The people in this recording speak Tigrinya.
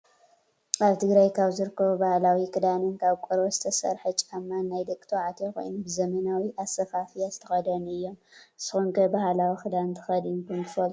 ኣብ ትግራይ ካብ ዝርከቡ ባህላዊ ክዳንን ካብ ቆርበት ዝተሰረሓ ጫማን ናይ ደቂ ተባዕትዮ ኮይኑ ብዘመናዊ ኣሰፋፍያ ዝተከደኑ እዮም። ንስኩም ከ ባህላዊ ክዳን ተከዲንኩም ትፈልጡ ዶ ?